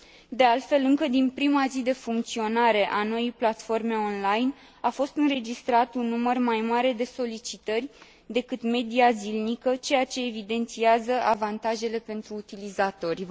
De altfel, încă din prima zi de funcționare a noii platforme online, a fost înregistrat un număr mai mare de solicitări decât media zilnică, ceea ce evidențiază avantajele pentru utilizatori.